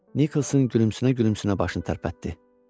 Nikolson gülümsünə-gülümsünə başını tərpətdi.